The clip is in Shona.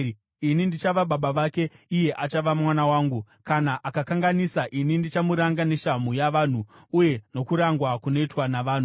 Ini ndichava baba vake, iye achava mwana wangu. Kana akakanganisa, ini ndichamuranga neshamhu yavanhu, uye nokurangwa kunoitwa navanhu.